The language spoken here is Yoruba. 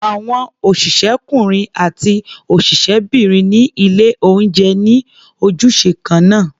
Àwọn òṣìṣẹ́kúnrin àti òṣìṣẹ́bìnrin ní ilé-oúnjẹ ní ojúṣe kan náà.